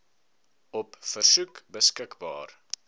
op versoek beskikbaar